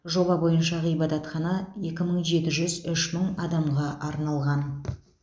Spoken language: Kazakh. жоба бойынша ғибадатхана екі мың жеті жүз үш мың адамға арналған